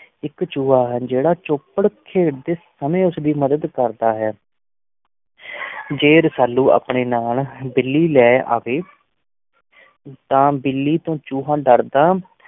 ਇੱਕ ਚੂਹਾ ਹੈ ਜਿਹੜਾ ਚੌਪੜ ਖੇਡਦੇ ਸਮੇਂ ਉਸ ਦੀ ਮਦਦ ਕਰਦਾ ਹੈ ਜੇ ਰਸਾਲੂ ਆਪਣੇ ਨਾਲ ਬਿੱਲੀ ਲੈ ਆਵੇ ਤਾਂ ਬਿੱਲੀ ਤੋਂ ਚੂਹਾ ਡਰਦਾ